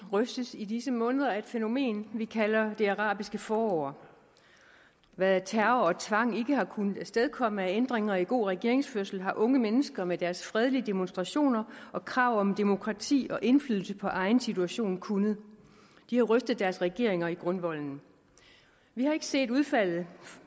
rystes i disse måneder af et fænomen vi kalder det arabiske forår hvad terror og tvang ikke har kunnet afstedkomme af ændringer i god regeringsførelse har unge mennesker med deres fredelige demonstrationer og krav om demokrati og indflydelse på egen situation kunnet de har rystet deres regeringer i grundvolden vi har ikke set udfaldet